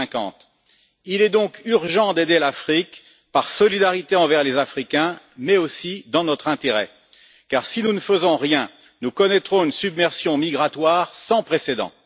2050. Il est donc urgent d'aider l'Afrique, par solidarité envers les Africains, mais aussi dans notre intérêt, car si nous ne faisons rien, nous connaîtrons une submersion migratoire sans précédent.